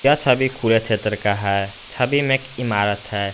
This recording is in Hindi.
यह छवि खुले क्षेत्र का है छवि में एक इमारत है।